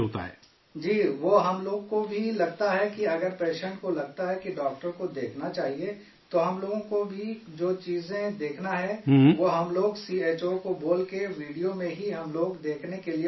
جی، وہ ہم لوگ کو بھی لگتا ہے کہ اگر پیشنٹ کو لگتا ہے کہ ڈاکٹر کو دیکھنا چاہیے، تو ہم لوگ کو، جو جو چیزیں دیکھنا ہے وہ ہم لوگ سی ایچ او کو بول کے، ویڈیو میں ہی ہم لوگ دیکھنے کے لیے بولتے ہیں